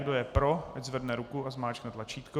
Kdo je pro, ať zvedne ruku a zmáčkne tlačítko.